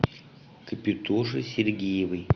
капитоше сергеевой